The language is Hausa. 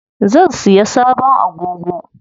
Zan siya sabon agogo.